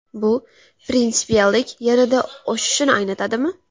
Bu prinsipiallik yanada oshishini anglatadimi?